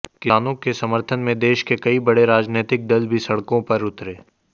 किसानों के समर्थन में देश के कई बड़े राजनीतिक दल भी सड़कों पर उतरे